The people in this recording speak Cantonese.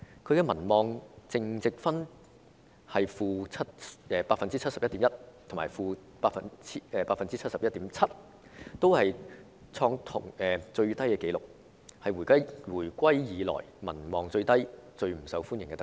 她的民望淨值分別是 -71.1% 和 -71.7%， 同樣創下最低紀錄，成為回歸以來民望最低、最不受歡迎的特首。